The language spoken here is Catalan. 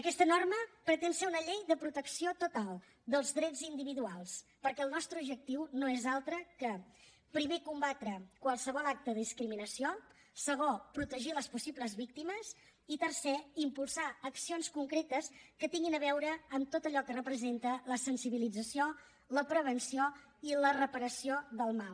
aquesta norma pretén ser una llei de protecció total dels drets individuals perquè el nostre objectiu no és altre que primer combatre qualsevol acte de discriminació segon protegir les possibles víctimes i tercer impulsar accions concretes que tinguin a veure amb tot allò que representa la sensibilització la prevenció i la reparació del mal